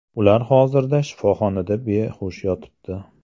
Ular hozirda shifoxonada behush yotibdi.